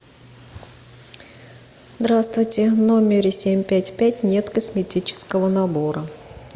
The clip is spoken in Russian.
здравствуйте в номере семь пять пять нет косметического набора